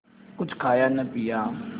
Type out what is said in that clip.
कुछ खाया न पिया